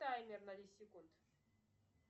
таймер на десять секунд